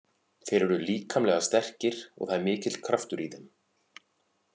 Þeir eru líkamlega sterkir og það er mikill kraftur í þeim.